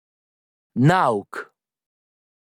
Nauk!